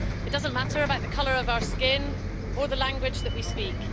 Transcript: It doesn't matter about the colour of our skin or the language that we speak.